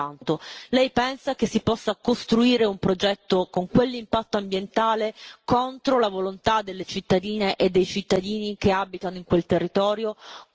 Le chiedo soltanto lei pensa che si possa costruire un progetto con quell'impatto ambientale contro la volontà delle cittadine e dei cittadini che abitano in quel territorio?